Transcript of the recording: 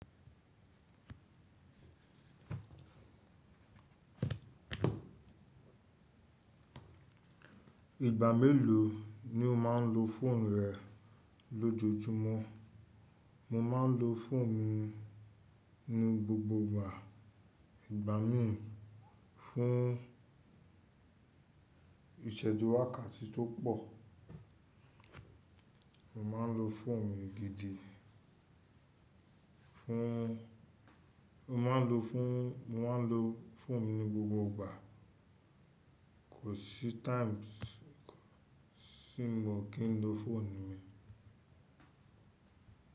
Ìgbà mélòó ni o máa ń lo fóònù rẹ lójoojúmọ́? Mo máa ń lo fóònù mi ní gbogbo ìgbà. Igba mi fun iseju wakati to po. Mo máa ń lo fóònù mi gidi fún Mo máa ń lo fún mo máa ń lo fóònù mi ní gbogbo ìgbà. Kò sí times tí mi o kì ń lo fóònù mi.